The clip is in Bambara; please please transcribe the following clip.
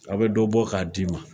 A be dɔ bɔ k'a d'i ma